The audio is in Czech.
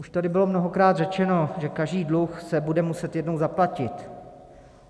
Už tady bylo mnohokrát řečeno, že každý dluh se bude muset jednou zaplatit.